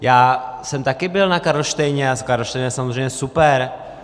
Já jsem také byl na Karlštejně a Karlštejn je samozřejmě super.